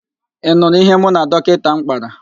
Ị nụrụ ihe mụ na dọkịnta m kpara?